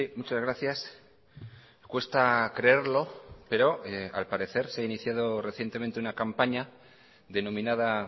muchas gracias cuesta creerlo pero al parecer se ha iniciado recientemente una campaña denominada